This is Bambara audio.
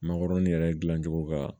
Makɔrɔni yɛrɛ dilancogo ka